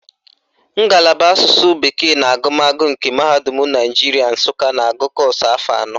Ngalaba Asụsụ bekee na agụmagụ nke Mahadum Naijiria Nsụka na-agụ kọ́ọ̀sụ̀ afọ anọ